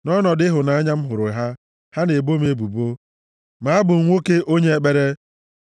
Nʼọnọdụ ịhụnanya m hụrụ ha, ha na-ebo m ebubo ma abụ m nwoke onye ekpere.